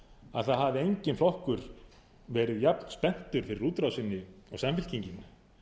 að það hafi enginn flokkur verið jafnspenntur fyrir útrásinni og samfylkingin